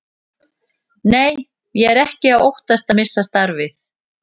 Nei, ég er ekki að óttast að missa starfið.